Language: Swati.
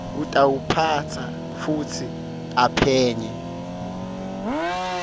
utawuphatsa futsi aphenye